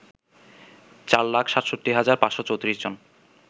৪ লাখ ৬৭ হাজার ৫৩৪ জন